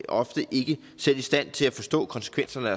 ofte ikke selv i stand til at forstå konsekvenserne af